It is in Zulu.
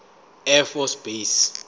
air force base